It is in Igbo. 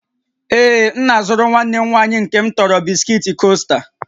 Ee, m na-azụrụ nwanne m nwanyị nke m tọrọ bisikiiti Coaster